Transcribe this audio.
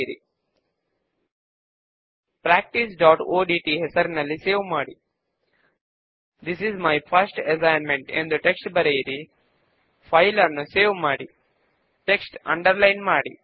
క్రింద ఉన్న form navigation toolbar లో రిఫ్రెష్ ఐకాన్ పైన క్లిక్ చేయడము ద్వారా ఫామ్ ను రిఫ్రెష్ చేయండి